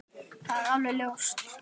Það er alveg ljóst.